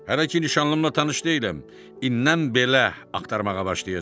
Hələ ki nişanlımla tanış deyiləm, indən belə axtarmağa başlayacam.